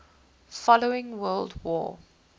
following world war